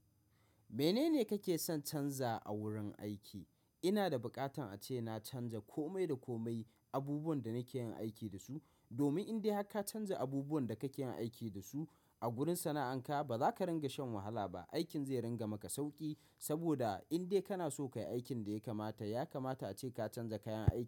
Menene kake son canza a wurin aiki? Ina da bukatan ace na canza komai da komai abubuwan da nake yin aiki da su. Domin in dai haka canza abubuwan da kake yin aiki da su a gurin sana'anka, ba za ka ringa shan wahala ba. Aikin zai ringa maka sauƙi. Saboda indai kana so ka yi aikin da ya kamata, ya kamata ace ka canza kayan aikin.